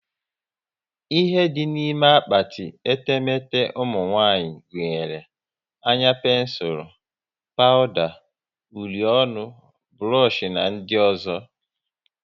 Ihe dị n'ime akpati etemete ụmụnwanyị gunyere; anya pensul, pawuda, uri ọnụ, burush na ndị ọzọ